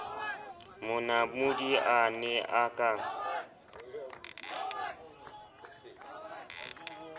monamodi a ne a ka